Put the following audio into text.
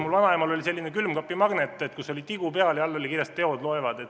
Mu vanaemal oli selline külmkapimagnet, kus oli tigu peal ja all oli kirjas, et teod loevad.